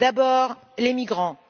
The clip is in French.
D'abord, les migrants.